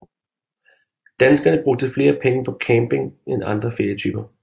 Danskerne brugte flere penge på camping end andre ferietyper